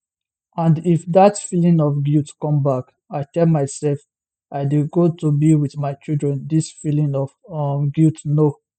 and if dat feeling of guilt come back i tell myself i dey go to be wit my children dis feeling of um guilt no